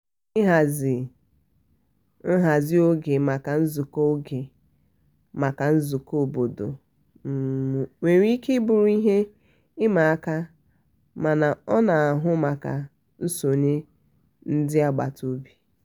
um ịhazi um nhazi oge maka nzukọ oge maka nzukọ obodo nwere ike bụrụ ihe ịma aka mana ọ na-ahụ maka nsonye ndị agbata obi.